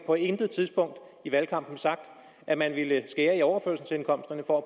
på intet tidspunkt i valgkampen sagt at man ville skære i overførselsindkomsterne for